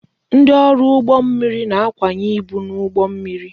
Ndị ọrụ ụgbọ mmiri na-akwanye ibu n'ụgbọ mmiri